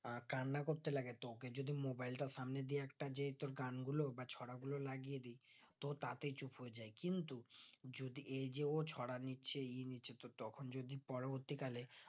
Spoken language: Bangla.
এই কান্না করতে লাগে তো ওকে যদি mobile তা সামনে দিয়ে একটা যে তোর গান গুলো বা ছড়া গুলো লাগিয়ে দিয় তো তাতেই চুপ করে যাই কিন্তু যদি এই যে ও ছড়া নিচে ই নিচে তো তখন যদি পরবর্তী কালে